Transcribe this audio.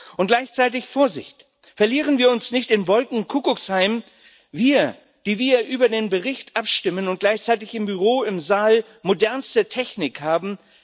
Und gleichzeitig, Vorsicht Verlieren wir uns nicht im Wolkenkuckucksheim, wir, die wir über den Bericht abstimmen und gleichzeitig im Büro, im Saal modernste Technik haben!